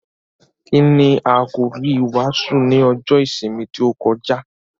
Kíni àkòrí ìwàásù ní ọjọ́ ìsinmi tí ó kọjá?